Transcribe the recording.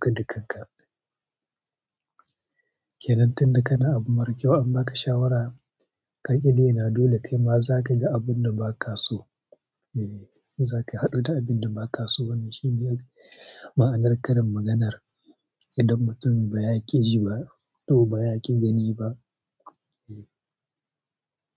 kada kanka kenan tun da kana abu mara kyau an baka shawara, ka ƙi daina, dole kai ma za ka ga abun da ba ka so. Eh, za ka haɗu da abin da ba ka so. Wannan shi ne ma'anar karin maganar, "idan mutum ba ya ƙi ji ba, to ba ya ƙi gani ba." Eh.